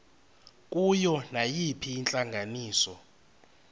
kuyo nayiphina intlanganiso